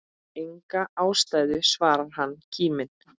Enga ástæðu svarar hann kíminn.